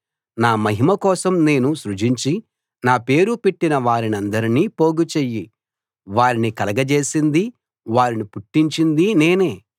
నా మహిమ కోసం నేను సృజించి నా పేరు పెట్టినవారందరినీ పోగుచెయ్యి వారిని కలగజేసింది వారిని పుట్టించింది నేనే